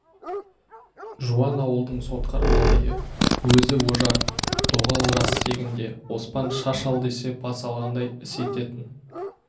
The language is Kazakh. жуан ауылдың сотқар малайы өзі ожар доғал жас тегінде оспан шаш ал десе бас алғандай іс ететін